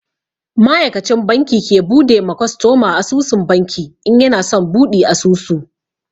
Ma'aikacin banki ke bude ma kwastoma asusun banki in yana son buɗi asusu.